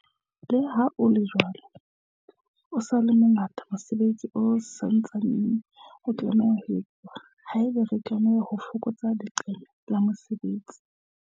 Leha ho le jwalo, o sa le mo ngata mosebetsi o sa ntsaneng o tlameha ho etsuwa haeba re batla ho fokotsa leqeme la mesebetsi.